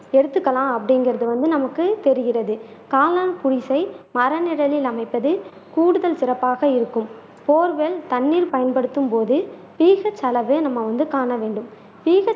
எடுத்துக்கலாம் அப்படிங்கறது வந்து நமக்கு தெரிகிறது காளான் குடிசை மரநிழலில் அமைப்பது கூடுதல் சிறப்பாக இருக்கும் போர்வெல் தண்ணீர் பயன்படுத்தும் போது டீசல் செலவே நம்ம வந்து காண வேண்டும்